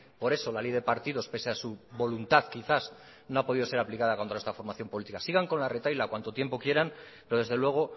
por eso la ley de partidos pese a su voluntad quizás no ha podido ser aplicada contra esta formación política sigan con la retahíla cuanto tiempo quieran pero desde luego